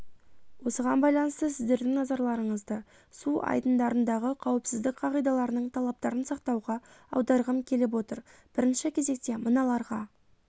осыған байланысты сіздердің назарларыңызды су айдындарындағы қауіпсіздік қағидаларының талаптарын сақтауға аударғым келіп отыр бірінші кезекте мыналарға